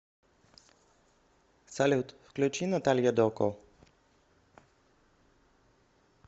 салют включи наталья доко